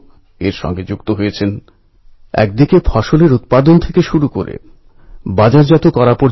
লোকমান্য তিলকজী দেশবাসীকে আত্মবিশ্বাসে ভরপুর হতে আহ্বান করেছিলেন